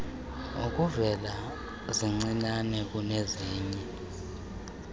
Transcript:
ukuvela zincinane kunezinye